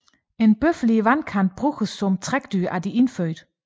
En bøffel i vandkanten bruges som trækdyr af indfødte